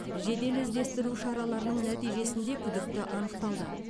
жедел іздестіру шараларының нәтижесінде күдікті анықталды